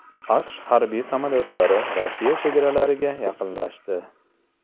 AQSh harbiy samolyotlari Rossiya chegaralariga yaqinlashdi.